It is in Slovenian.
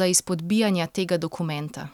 za izpodbijanja tega dokumenta.